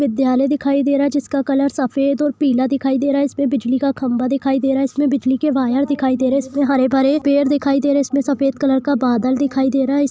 विद्यालय दिखाई दे रहा है जिसका कलर सफेद और पीला दिखाई दे रहा है इस पे बिजली का खम्बा दिखाई दे रह है इसमें बिजली के वायर दिखाई दे रह है इसमें हरे बरे पेड़ दिखाई दे रह है इसमें सफेद कलर का बादल दिखाई दे रहा है।